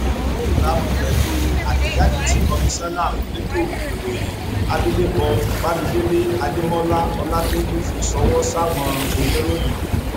ní ìbámu pẹlú àtẹjáde tí komisanna fẹtọ ìròyìn abilékọ bámidélé adémọláọlàtẹjú fi ṣọwọ sáwọn oníròyìn